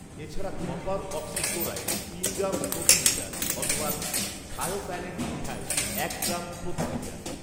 এছাড়া copper oxychloride তিন gram প্রতি লিটার অথবা থায়োফ্যানেট মিথাইল এক গ্রাম প্রতি লিটার